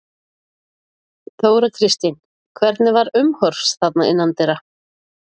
Þóra Kristín: Hvernig var umhorfs þarna innandyra?